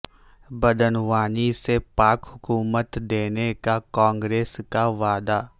بدعنوانی سے پاک حکومت دینے کا کانگریس کا وعدہ